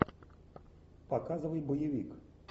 показывай боевик